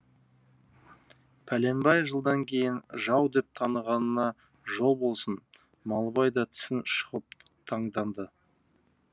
пәленбай жылдан кейін жау деп танығанына жол болсын малыбай да тісін шұқып таңданды